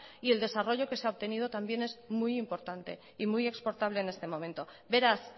y el desarrollo que se ha obtenido también es muy importante y muy exportable en este momento beraz